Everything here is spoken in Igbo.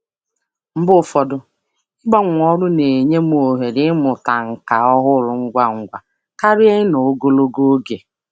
Mgbe ụfọdụ, ịgbanwe ọrụ na-enye m ohere ịmụta nkà ọhụrụ ngwa ngwa karịa ịnọ ngwa karịa ịnọ ogologo oge.